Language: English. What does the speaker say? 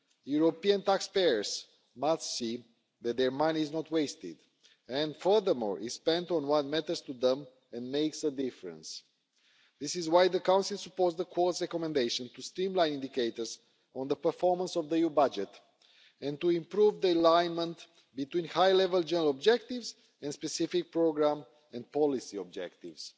European taxpayers must see that their money is not wasted and, furthermore, is spent on what matters to them and makes a difference. This is why the Council supports the Court's recommendation to streamline indicators on the performance of the EU budget and to improve the alignment between high level general objectives and specific programme and policy objectives,